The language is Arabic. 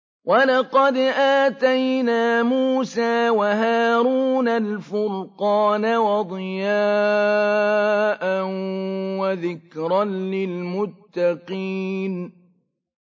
وَلَقَدْ آتَيْنَا مُوسَىٰ وَهَارُونَ الْفُرْقَانَ وَضِيَاءً وَذِكْرًا لِّلْمُتَّقِينَ